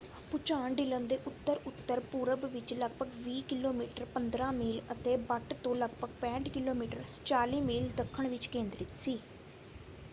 ਭੁਚਾਲ ਡਿਲਨ ਦੇ ਉੱਤਰ-ਉੱਤਰ ਪੂਰਬ ਵਿੱਚ ਲਗਭਗ 20 ਕਿਲੋਮੀਟਰ 15 ਮੀਲ ਅਤੇ ਬੱਟ ਤੋਂ ਲਗਭਗ 65 ਕਿਲੋਮੀਟਰ 40 ਮੀਲ ਦੱਖਣ ਵਿੱਚ ਕੇਂਦਰਿਤ ਸੀ।